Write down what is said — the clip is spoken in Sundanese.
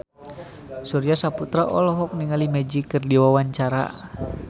Surya Saputra olohok ningali Magic keur diwawancara